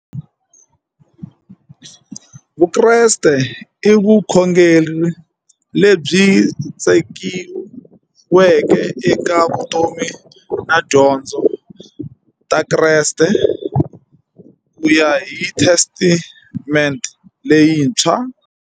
Vukreste i vukhongeri lebyi tshegiweke eka vutomi na tidyondzo ta Kreste kuya hi Testamente leyintshwa.